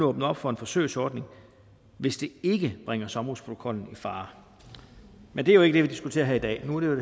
åbne op for en forsøgsordning hvis det ikke bringer sommerhusprotokollen i fare men det er jo ikke det vi diskuterer her i dag nu gælder